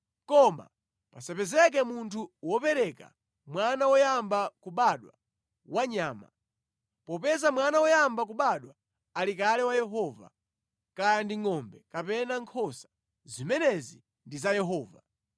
“ ‘Koma pasapezeke munthu wopereka mwana woyamba kubadwa wa nyama, popeza mwana woyamba kubadwa ali kale wa Yehova, kaya ndi ngʼombe kapena nkhosa, zimenezi ndi za Yehova.